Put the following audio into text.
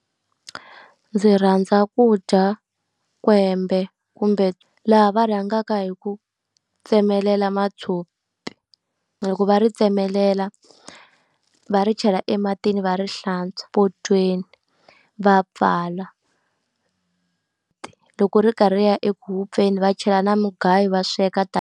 Ndzi rhandza ku dya kwembe, kumbe laha va rhangaka hi ku tsemelela matshopi. Loko va ri tsemelela va ri chela ematini va ri hlantswa potweni va pfala. Loko ri karhi ri ya ekufeni va chela na mugayo va sweka .